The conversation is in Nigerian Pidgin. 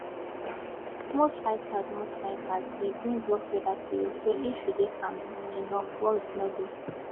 most fighters most fighters dey bring rough weather to you so if you dey calm enough worries no dey